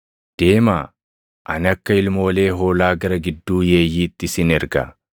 Deemaa! Ani akka ilmoolee hoolaa gara gidduu yeeyyiitti isin erga.